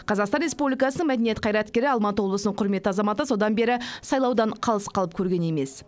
қазақстан республикасының мәдениет қайраткері алматы облысының құрметті азаматы содан бері сайлаудан қалыс қалып көрген емес